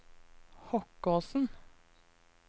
Hokkåsen